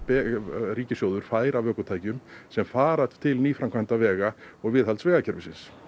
ríkissjóður fær af ökutækjum sem fara til nýframkvæmda vega og viðhalds vegakerfisins